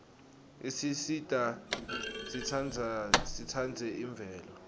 isisita sitsandze imvelo